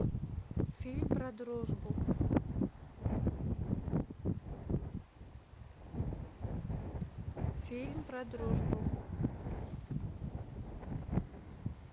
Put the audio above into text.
фильм про дружбу фильм про дружбу